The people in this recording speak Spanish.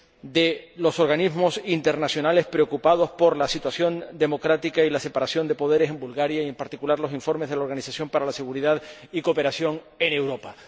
de los organismos internacionales, preocupados por la situación democrática y la separación de poderes en Bulgaria, como lo demuestran los informes de la Organización para la Seguridad y la Cooperación en Europa.